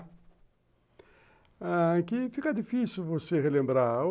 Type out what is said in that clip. Ah, é que fica difícil você relembrar.